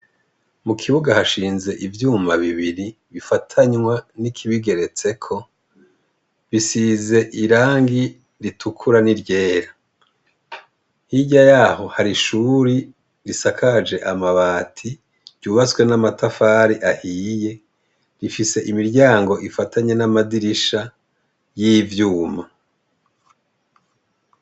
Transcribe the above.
Mu kibuga hashinze ivyuma bibiri bifatanywa n'ikibigeretseko bisize irangi ritukura n'iryera hirya yaho hari ishuri risakaje amabati ryubatswe n'amatafari ahiye rifise imiryango ifatanywe n amadirisha y'ivyuma.